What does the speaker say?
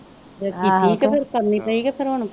ਫਿਰ ਕੀਤੀ ਕੇ ਫਿਰ ਕਰਨੀ ਪਈ ਕੇ ਫਿਰ ਹੁਣ